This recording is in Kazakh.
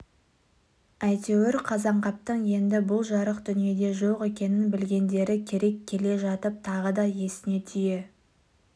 әйтеуір қазанғаптың енді бұл жарық дүниеде жоқ екенін білгендері керек келе жатып тағы да есіне түйе